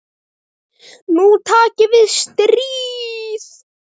Nú taki við stríð.